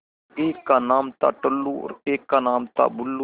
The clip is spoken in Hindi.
एक का नाम था टुल्लु और एक का नाम था बुल्लु